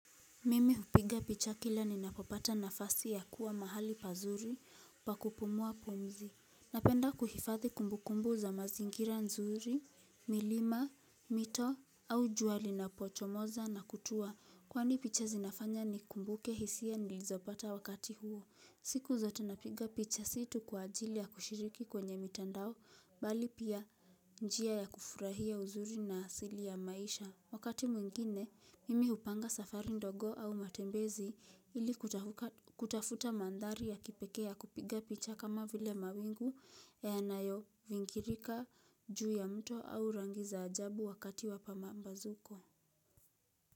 Mimi upiga picha kila ninapopata nafasi ya kuwa mahali pazuri, pakupumua pumzi. Napenda kuhifadhi kumbu kumbu za mazingira nzuri, milima, mito, au jua linapochomoza na kutua. Kwani picha zinafanya nikumbuke hisia nilizopata wakati huo. Siku zota napiga picha si tu kwa ajili ya kushiriki kwenye mitandao, bali pia njia ya kufurahia uzuri na asili ya maisha. Wakati mwingine, mimi hupanga safari ndogo au matembezi ili kutafuta mandhari ya kipekea kupiga picha kama vile mawingu ya yanayo vingirika juu ya mto au rangi za ajabu wakati wa pambazuko.